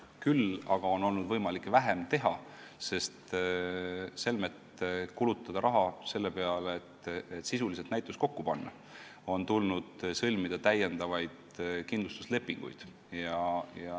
Küll aga on meil olnud võimalik vähem teha, sest selmet kulutada raha selle peale, et näitus sisuliselt kokku panna, on tulnud sõlmida täiendavaid kindlustuslepinguid.